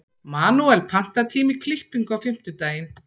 Manuel, pantaðu tíma í klippingu á fimmtudaginn.